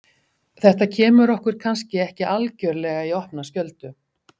Þetta kemur okkur kannski ekki algjörlega í opna skjöldu.